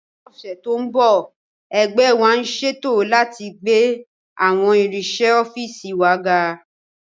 Ní ọ̀sẹ̀ tó ń bọ̀, ẹgbẹ́ wa ń ṣètò láti gbé àwọn irinṣẹ́ ọ́fíìsì wa ga